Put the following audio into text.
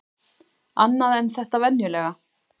Annað en þetta venjulega.